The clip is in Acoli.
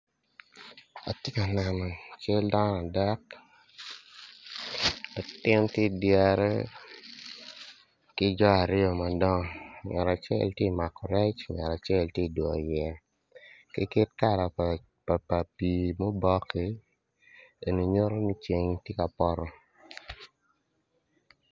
Ati ka neno cal dano adek latin ti idyere ki jo aryo madongo ngat acel ti mako rec ngat acel ti dwyoyo yeya ki kit kala pa pii mubokki en nyuto ni ceng ti ka poto